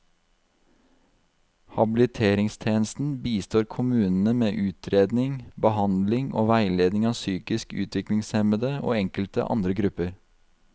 Habiliteringstjenesten bistår kommunene med utredning, behandling og veiledning av psykisk utviklingshemmede og enkelte andre grupper.